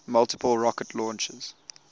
multiple rocket launchers